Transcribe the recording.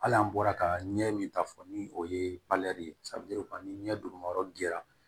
Hali an bɔra ka ɲɛ min ta fɔ ni o ye ni ɲɛ duguma yɔrɔ dira